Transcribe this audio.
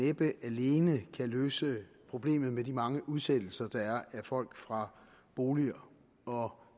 næppe alene kan løse problemet med de mange udsættelser der er af folk fra boliger og